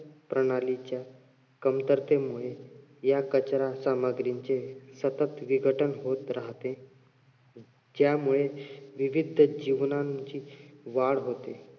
प्रणालीच्या कमतरतेमुळे या कचरा सामग्रींचे सतत विघटन होत राहते ज्यामुळे विविध जीवनाची वाढ होते